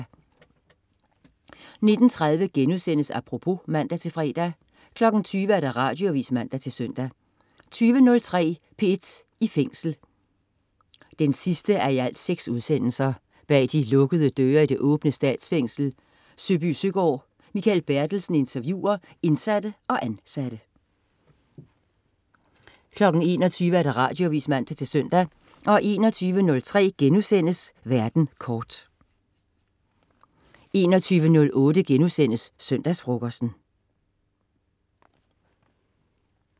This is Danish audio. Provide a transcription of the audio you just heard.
19.30 Apropos* (man-fre) 20.00 Radioavis (man-søn) 20.03 P1 i Fængsel 6:6. Bag de lukkede døre i det åbne Statsfængsel Søbysøgaard. Mikael Bertelsen interviewer indsatte og ansatte 21.00 Radioavis (man-søn) 21.03 Verden kort* 21.08 Søndagsfrokosten*